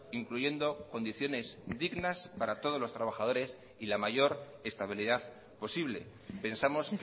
incluyendo condiciones dignas para todos los trabajadores y la mayor estabilidad posible pensamos